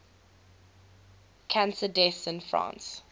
cancer deaths in france